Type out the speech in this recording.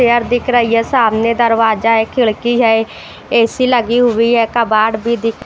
दिख रहा है सामने दरवाजा है खिड़की है ए_सी लगी हुई है कबाड़ भी दिख --